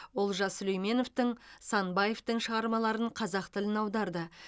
олжас сүлейменовтің санбаевтың шығармаларын қазақ тіліне аударды